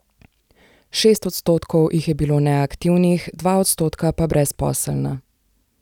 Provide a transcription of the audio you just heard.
Šest odstotkov jih je bilo neaktivnih, dva odstotka pa brezposelna.